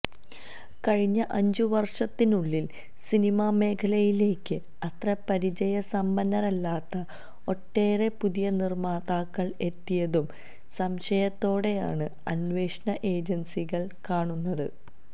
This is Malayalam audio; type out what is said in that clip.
കഴിഞ്ഞ അഞ്ചു വര്ഷത്തിനുള്ളില് സിനിമാ മേഖലയിലേക്ക് അത്ര പരിചയസമ്പന്നരല്ലാത്ത ഒട്ടേറെ പുതിയ നിര്മ്മാതാക്കള് എത്തിയതും സംശയത്തോടെയാണ് അന്വേഷണ ഏജന്സികള് കാണുന്നത്